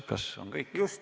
Kas on kõik?